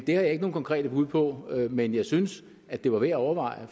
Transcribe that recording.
jeg ikke nogen konkrete bud på men jeg synes at det var værd at overveje